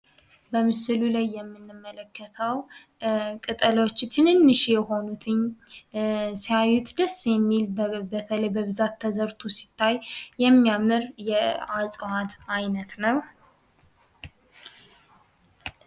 በምስሉ ላይ የምንመለከተው ቅጠሎቹ ትንንሽ የሆኑት ሲያዩት ደስ የሚል በተለይ በብዛት ተዘርቶ ሲታይ የሚያምር የእፅዋት አይነት ነው ።